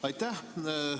Aitäh!